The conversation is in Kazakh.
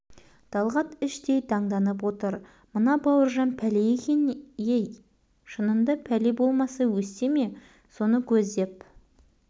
талғат іштей таңданып отыр мына бауыржан пәле екен ей шынында пәле болмаса өсте ме соны көздеп